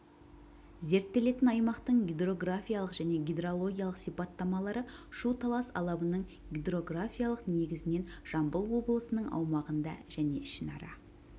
зерттелетін аймақтың гидрографиялық және гидрологиялық сипаттамалары шу-талас алабының гидрографиялық негізінен жамбыл облысының аумағында және ішінара